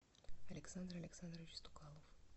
александр александрович стукалов